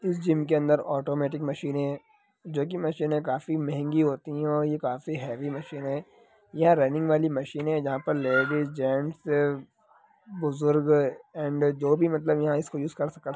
इस जिम के अंदर औटोमेटिक मशीन है जो की मशीन काफी महंगी होती है और यह काफी हेवी मशीने है ये रेनिंग वाली मशीने है जहां पे लेडिज जेन्ट्स बुजुर्ग एण्ड जो भी मतलब--- ]